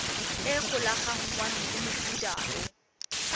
e golaganngwang le mofuta o